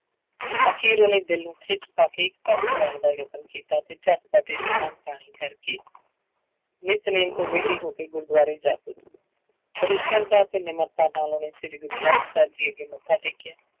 ਅਖ਼ੀਰ ਉਹਨੇ ਦਿਲ ਨੂੰ ਖਿੱਚ ਪਾ ਕੇ ਪਾਸੇ ਲਾਉਣ ਦਾ ਯਤਨ ਕੀਤਾ ਤੇ ਝਟ ਪਟ ਇਸ਼ਨਾਨ ਪਾਣੀ ਕਰਕੇ ਨਿਤਨੇਮ ਤੋਂ ਵਿਹਲੀ ਹੋ ਕੇ ਗੁਰਦੁਆਰੇ ਜਾ ਪੁੱਜੀ ਬੜੀ ਸਰਧਾ ਤੇ ਨਿਮਰਤਾ ਨਾਲ ਉਹਨੇ ਸ੍ਰੀ ਗੁਰੂ ਗ੍ਰੰਥ ਸਾਹਿਬ ਜੀ ਅੱਗੇ ਮੱਥਾ ਟੇਕਿਆ।